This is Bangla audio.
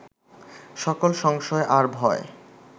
সকল সংশয় আর ভয়